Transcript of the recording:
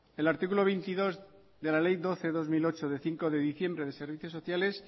el artículo veintidós de la ley doce barra dos mil ocho de cinco de diciembre de servicios sociales